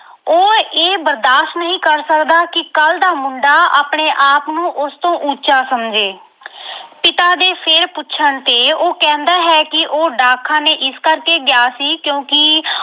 ਉਹ ਇਹ ਬਰਦਾਸ਼ ਨਹੀਂ ਕਰ ਸਕਦਾ ਕਿ ਕੱਲ ਦਾ ਮੁੰਡਾ ਆਪਣੇ ਆਪ ਨੂੰ ਉਸਤੋਂ ਉੱਚਾ ਸਮਝੇ ਅਹ ਪਿਤਾ ਦੇ ਫਿਰ ਪੁੱਛਣ ਤੇ ਉਹ ਕਹਿੰਦਾ ਹੈ ਕਿ ਉਹ ਡਾਕਖਾਨੇ ਇਸ ਕਰਕੇ ਗਿਆ ਸੀ ਕਿਉਂਕਿ